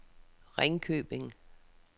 Ringkøbing